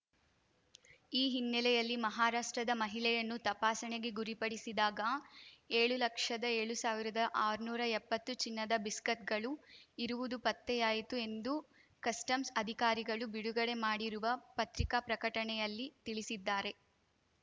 ಈ ಹಿನ್ನೆಲೆಯಲ್ಲಿ ಮಹಾರಾಷ್ಟ್ರದ ಮಹಿಳೆಯನ್ನು ತಪಾಸಣೆಗೆ ಗುರಿಪಡಿಸಿದಾಗ ಏಳು ಲಕ್ಷದ ಏಳು ಸಾವಿರದಆರ್ನೂರಾ ಎಪ್ಪತ್ತು ಚಿನ್ನದ ಬಿಸ್ಕತ್‌ಗಳು ಇರುವುದು ಪತ್ತೆಯಾಯಿತು ಎಂದು ಕಸ್ಟಮ್ಸ್ ಅಧಿಕಾರಿಗಳು ಬಿಡುಗಡೆ ಮಾಡಿರುವ ಪತ್ರಿಕಾ ಪ್ರಕಟಣೆಯಲ್ಲಿ ತಿಳಿಸಿದ್ದಾರೆ